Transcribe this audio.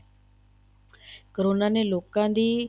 corona ਦੇ ਲੋਕਾਂ ਦੀ